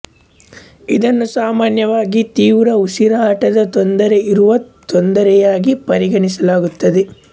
ಇದನ್ನು ಸಾಮಾನ್ಯವಾಗಿ ತೀವ್ರ ಉಸಿರಾಟದ ತೊಂದರೆ ಇರುವ ತೊಂದರೆಯಾಗಿ ಪರಿಗಣಿಸಲಾಗುತ್ತದೆ